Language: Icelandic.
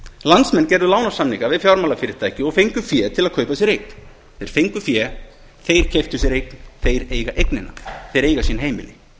landsmenn gerðu lánasamninga við fjármálafyrirtæki og fengu fé til að kaupa sér eign þeir fengu fé þeir keyptu sér eign þeir eiga eignina þeir eiga sín heimili